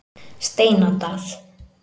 Steinadal